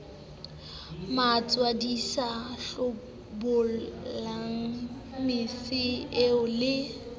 matswadisa hlobolang mese eo le